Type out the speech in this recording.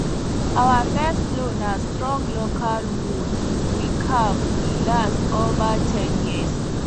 our first plow na strong local wood we carve e last over ten years